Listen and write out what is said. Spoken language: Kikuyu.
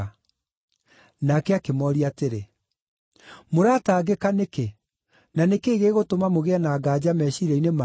Nake akĩmooria atĩrĩ, “Mũratangĩka nĩkĩ, na nĩ kĩĩ gĩgũtũma mũgĩe na nganja meciiria-inĩ manyu?